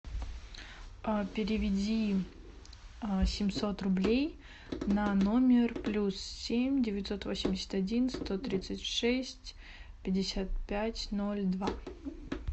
переведи семьсот рублей на номер плюс семь девятьсот восемьдесят один сто тридцать шесть пятьдесят пять ноль два